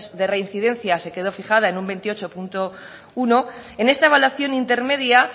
de reincidencia se quedó fijada en un veintiocho punto uno en esta evaluación intermedia